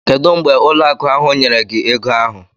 Kedu mgbe ụlọ akụ ahụ nyere gị ego ahụ?